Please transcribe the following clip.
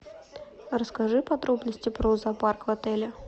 расскажи подробности про зоопарк в отеле